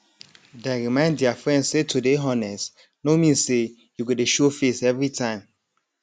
dem remind their friend say to dey honest no mean say you go dey show face every time